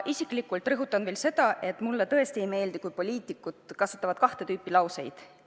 Ma isiklikult rõhutan veel seda, et mulle tõesti ei meeldi, kui poliitikud kasutavad kahte tüüpi lauseid.